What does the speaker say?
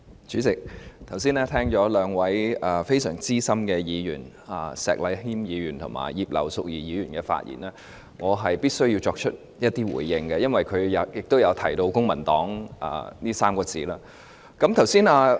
主席，剛才聽了兩位相當資深的議員——石禮謙議員和葉劉淑儀議員——的發言後，我必須作出一些回應，因為他們均提到"公民黨"這3個字。